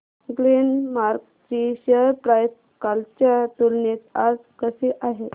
Glenmark ची share price कालच्या तुलनेत आज कशी आहे